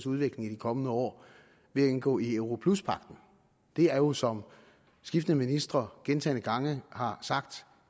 udvikling i de kommende år ved at indgå i europluspagten det er jo som skiftende ministre gentagne gange har sagt